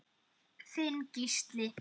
Þinn Gísli.